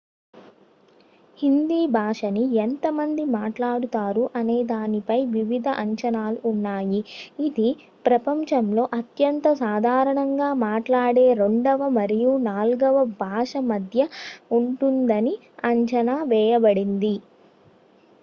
హిందీ భాషని ఎంత మంది మాట్లాడుతారు అనే దానిపై వివిధ అంచనాలు ఉన్నాయి ఇది ప్రపంచంలో అత్యంత సాధారణంగా మాట్లాడే రెండవ మరియు నాలుగవ భాష మధ్య ఉంటుందని అంచనా వేయబడింది